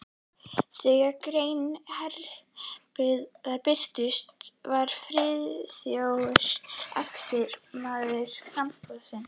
Þegar grein Hendriks birtist, var Friðþjófur efsti maður á framboðslista